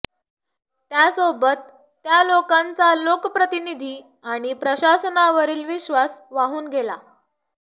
त्यासोबत त्या लोकांचा लोकप्रतिनिधी आणि प्रशासनावरील विश्वास वाहून गेला